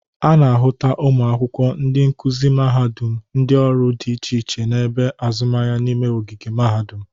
A na-ahụta ụmụ akwụkwọ, ndị nkuzi mahadụm, ndị ọrụ dị iche iche na ebe azụmahịa n'ime ogige mahadụm.